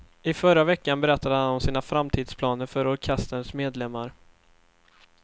I förra veckan berättade han om sina framtidsplaner för orkesterns medlemmar.